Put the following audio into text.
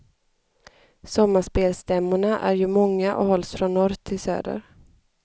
Sommarspelstämmorna är ju många och hålls från norr till söder.